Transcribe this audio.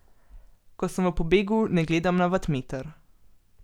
Ko sem v pobegu, ne gledam na vatmeter.